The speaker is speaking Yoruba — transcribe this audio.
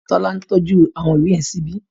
Tọ́lání tọ́jú àwọn ìwé yẹn síbi